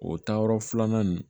O taayɔrɔ filanan in